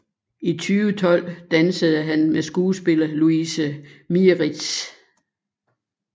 I 2012 dansede han med skuespiller Louise Mieritz